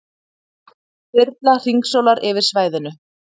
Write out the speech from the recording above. Þyrla hringsólar yfir svæðinu